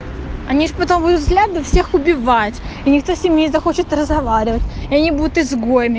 они ж потом будут взглядом всех убивать и никто с ними не захочет разговаривать и они будут изгоями